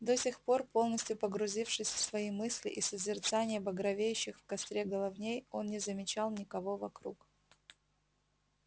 до сих пор полностью погрузившись в свои мысли и созерцание багровеющих в костре головней он не замечал никого вокруг